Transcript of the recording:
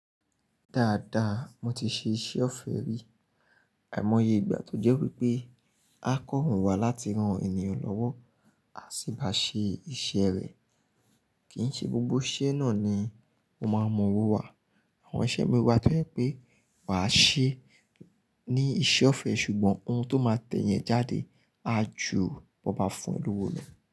Dáadáa, mo ti ṣe iṣẹ́ ọ̀fẹ́ rí. Àìmọye ìgbà tó jẹ́ wípé a kọ̀rùn wa láti rán ènìyàn lọ́wọ́, a sì bá ṣe iṣẹ́ rẹ̀. Kì ń ṣe gbogbo iṣẹ́ náà ni ó máa mọwọ́ wa. Àwọn iṣẹ́ mi wà tó jẹ pé wà á ṣe ní iṣẹ́ ọ̀fẹ́ ṣùgbọ́n ohun tó máa tẹ̀ eyin e jáde a jù bó ba fún o lówó no.